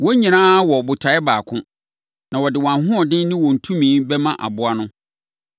Wɔn nyinaa wɔ botaeɛ baako, na wɔde wɔn ahoɔden ne wɔn tumi bɛma aboa no.